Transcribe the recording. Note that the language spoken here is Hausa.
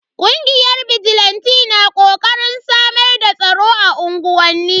Kungiyar bijilanti na kokarin samar da tsaro a unguwanni.